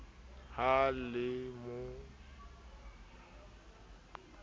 ha e le mo o